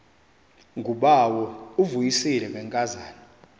ngubawo uvuyisile ngenkazana